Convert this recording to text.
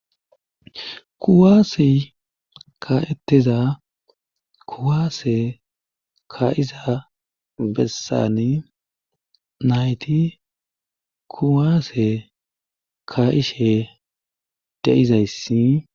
kuwaasi ka7eteza kuwaase ka7iza bessani nayti kuwaase ka ishe deizayssi